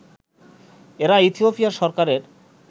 এরা ইথিওপিয়া সরকারের